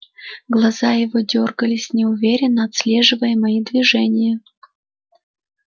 глаза его дёргались неуверенно отслеживая мои движения